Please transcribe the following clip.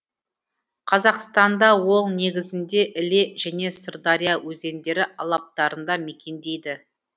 қазақстанда ол негізінде іле және сырдария өзендері алаптарында мекендейді